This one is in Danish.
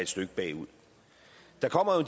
stykke bagud der kommer jo